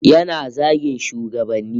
Yana zagin shugabanni